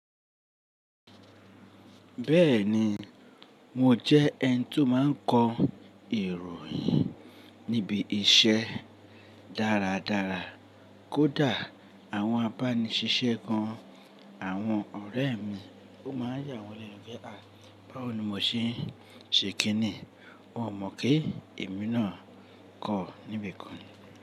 Bẹ́ẹ̀ni, mo jẹ́ ẹni tí ó máa ń kọ ìròyìn níbi iṣẹ́ dáradára. Kódà àwọn abániṣisẹ́ gan, àwọn ọ̀rẹ́ mi ó máa yà wọ́n lẹ́nu pé, à báwo ni mo ṣe ṣe kín ní? Wọn ò mọ̀ pé èmi náà kọ́ níbi kan.